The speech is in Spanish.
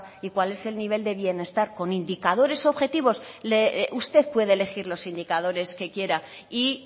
y cuál es el nivel de bienestar con indicadores objetivos usted puede elegir los indicadores que quiera y